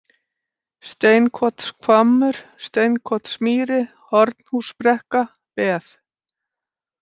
Steinkotshvammur, Steinkotsmýri, Hornhúsbrekka, Beð